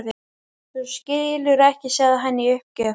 Þú skilur ekki sagði hann í uppgjöf.